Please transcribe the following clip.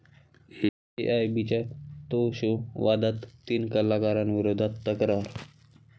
एआयबी'चा 'तो' शो वादात, तीन कलाकारांविरोधात तक्रार